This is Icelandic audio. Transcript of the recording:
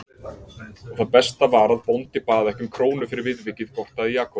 Og það besta var að bóndi bað ekki um krónu fyrir viðvikið gortaði Jakob.